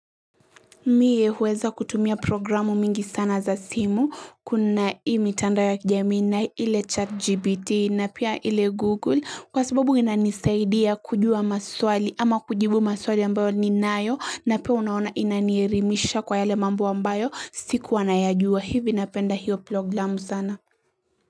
Mie huweza kutumia programu mingi sana za simu. Kuna hii tandao ya kijamii na ile chat GBT na pia ile Google. Kwa sababu inanisaidia kujua maswali ama kujibu maswali ambayo ni nayo na pia unaona ina nielimisha kwa yale mambo ambayo siku anayajua. Hivi napenda hiyo programu sana.